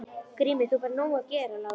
GRÍMUR: Þú færð nóg að gera, Lárus!